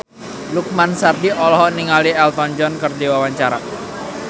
Lukman Sardi olohok ningali Elton John keur diwawancara